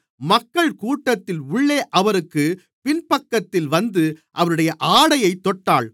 மக்கள் கூட்டத்தின் உள்ளே அவருக்குப் பின்பக்கத்தில் வந்து அவருடைய ஆடையைத் தொட்டாள்